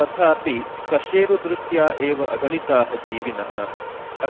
तथापि कशेरु दृष्ट्या एव अगणिताः जीविनः